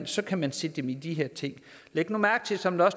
så kan man sætte dem i de her ting læg nu mærke til som der